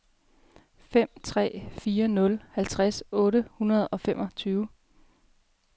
fem tre fire nul halvtreds otte hundrede og femogtyve